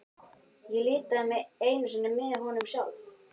Ég litaði mig einu sinni með honum sjálf.